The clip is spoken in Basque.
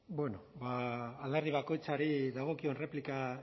alderdi bakoitzari dagokion erreplika